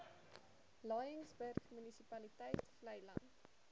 laingsburg munisipaliteit vleiland